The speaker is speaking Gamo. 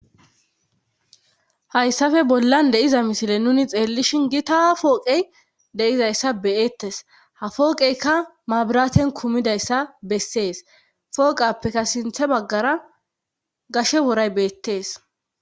Hayssafe bollan deiza misile nuni xeellishin gi taha pooqey deizayssa beyettes ha fooqeyka mabiraten kumidayssa bessees fooqappekka sinthe baggara gashe woray beettees.